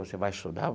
Você vai estudar?